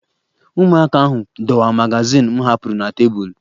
Ụmụaka ahụ dọwaa magazin m hapụrụ na tebụl